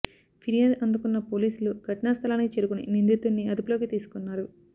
ఫిర్యాదు అందుకున్న పోలీసులు ఘటనా స్థలానికి చేరుకుని నిందితుడిని అదుపులోకి తీసుకున్నారు